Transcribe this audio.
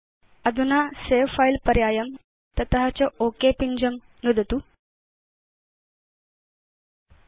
अधुना pop up गवाक्षे भवान् सवे फिले पर्यायं तत च ओक पिञ्जं चेतुं शक्नोति